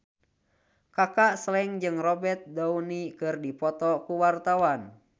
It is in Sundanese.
Kaka Slank jeung Robert Downey keur dipoto ku wartawan